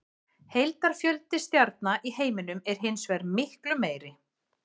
Heildarfjöldi stjarna í heiminum er hins vegar miklu meiri.